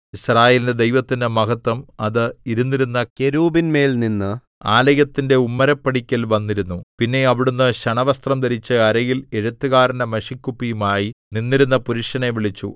യിസ്രായേലിന്റെ ദൈവത്തിന്റെ മഹത്വം അത് ഇരുന്നിരുന്ന കെരൂബിന്മേൽനിന്ന് ആലയത്തിന്റെ ഉമ്മരപ്പടിക്കൽ വന്നിരുന്നു പിന്നെ അവിടുന്ന് ശണവസ്ത്രം ധരിച്ച് അരയിൽ എഴുത്തുകാരന്റെ മഷിക്കുപ്പിയുമായി നിന്നിരുന്ന പുരുഷനെ വിളിച്ചു